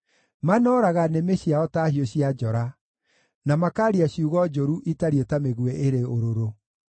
Manooraga nĩmĩ ciao ta hiũ cia njora, na makaaria ciugo njũru itariĩ ta mĩguĩ ĩrĩ ũrũrũ.